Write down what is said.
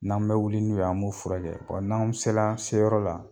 N'an bɛ wuli n'u ye an b'u furakɛ n'an sela an seyɔrɔ la